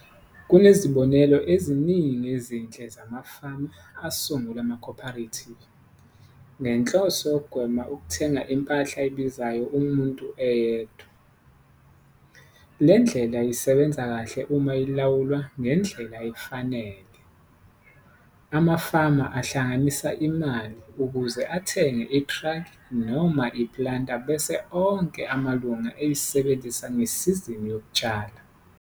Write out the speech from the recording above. Kunezibonelo eziningi ezinhle zamafama asungula ama-co-operatives ngenhloso yokugwema ukuthenga impahla ebizayo umuntu eyedwa. Le ndlela isebenza kahle uma ilawulwa ngendlela efanele. Amafama ahlanganisa imali ukuze athenge itraki noma iplanter bese onke amalunga eyisebenzisa ngesizini yokutshala.